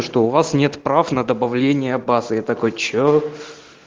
что у вас нет прав на добавление базы я такой что